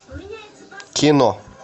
кино